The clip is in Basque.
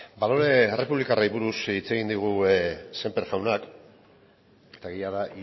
balore errepublikarrei buruz hitz egin digu sémper jaunak eta egia da